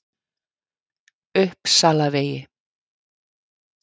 Uppsalavegi